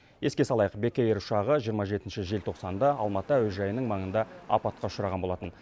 еске салайық бек эйр ұшағы жиырма жетінші желтоқсанда алматы әуежайының маңында апатқа ұшыраған болатын